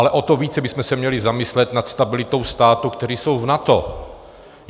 Ale o to více bychom se měli zamyslet nad stabilitou států, které jsou v NATO.